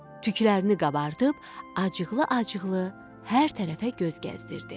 Tüklərini qabartıb acıqlı-acıqlı hər tərəfə göz gəzdirdi.